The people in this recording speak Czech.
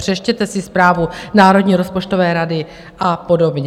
Přečtěte si zprávu Národní rozpočtové rady a podobně.